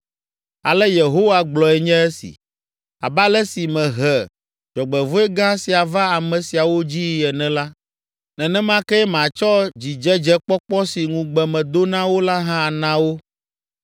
“Ale Yehowa gblɔe nye esi: Abe ale si mehe dzɔgbevɔ̃e gã sia va ame siawo dzii ene la, nenema kee matsɔ dzidzedzekpɔkpɔ si ŋugbe medo na wo la hã ana wo.